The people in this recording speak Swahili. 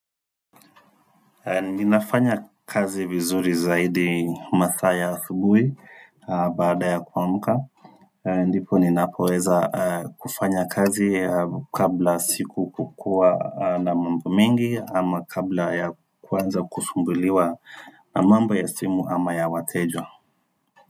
Ninafanya kazi vizuri zaidi masaa ya asubui baada ya kwa muda ndipo ninapoweza kufanya kazi kabla siku kukuwa na mambo mengi ama kabla ya kuanza kusumbuliwa mambo ya simu ama ya wateja.